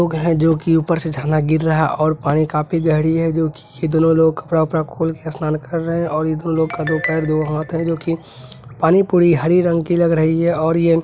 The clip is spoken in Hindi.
लोग है जोकि ऊपर से झरना गिर रहा है और पानी काफी गहरी है जोकि ये दोनों लोग कपड़ा वपड़ा खोल के स्नान कर रहे है और ये लोग का दो पैर दो हाथ है जोकि पानी पूरी हरी रंग की लग रही है और ये --